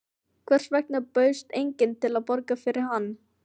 Hvers vegna bauðst enginn til að borga fyrir hann?